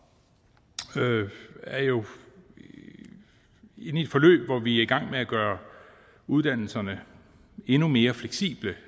er jo inde i et forløb hvor vi er i gang med at gøre uddannelserne endnu mere fleksible